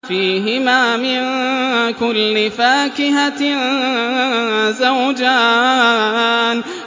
فِيهِمَا مِن كُلِّ فَاكِهَةٍ زَوْجَانِ